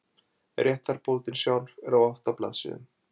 réttarbótin sjálf er á átta blaðsíðum